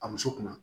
A muso kunna